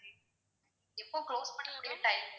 எப்போ close பண்ணக்கூடிய time